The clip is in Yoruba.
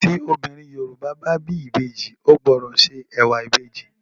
Tí obìnrin Yorùbá bá bí ìbejì ó gbọdọ̀ se ẹ̀wà ìbejì.